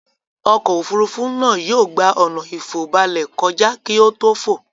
Ọkọ̀-òfurufú náà yóò gbà ọ̀nà ìfòbalẹ̀ kọjá kí ó tò fò.